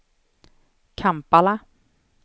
Kampala